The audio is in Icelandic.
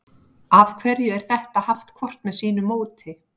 af hverju er þetta haft hvort með sínu móti